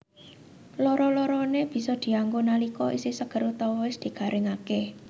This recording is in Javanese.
Loro loroné bisa dianggo nalika isih seger utawa wis digaringaké